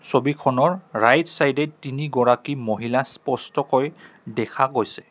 ছবিখনৰ ৰাইট চাইডে তিনিগৰাকী মহিলা স্পষ্টকৈ দেখা গৈছে।